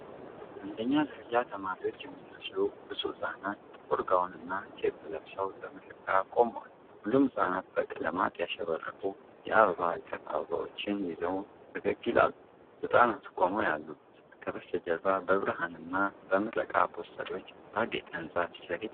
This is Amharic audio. አንደኛ ደረጃ ተማሪዎች የሚመስሉ ብዙ ሕፃናት፣ ጥቁር ጋውንና ኬፕ ለብሰው ለምረቃ ቆመዋል። ሁሉም ሕፃናት በቀለማት ያሸበረቁ የአበባ እቅፍ አበባዎችን ይዘው ፈገግ ይላሉ። ሕፃናቱ ቆመው ያሉት ከበስተጀርባ በብርሃንና በምረቃ ፖስተሮች ባጌጠ ህንጻ ፊት ለፊት ነው።